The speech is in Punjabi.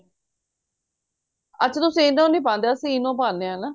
ਅੱਛਾ ਤੁਸੀਂ ENO ਨੀਂ ਪਾਂਦੇ ਅਸੀਂ ENO ਪਾਂਦੇ ਆ ਨਾ